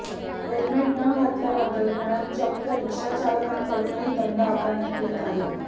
helmet न घातल्याबद्दल पुण्यात चक्क रिक्षाचालकांकडूनही दंड आकारण्यात येत आहे